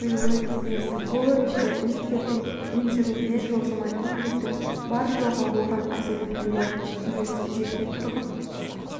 берілуі тиіс бұл ретте үміткердің меншігінде жылжымайтын мүліктің бар-жоғы оған әсер етпеуі тиіс жеке тұрғын